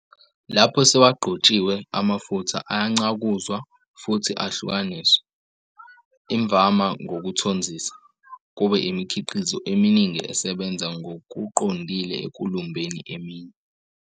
Lapho sewagqotshiwe, amafutha ayancakuzwa futhi ahlukaniswe, imvama ngokuthonzisa, kube imikhiqizo eminingi esebenza ngokuqondile ekulumbeni eminye.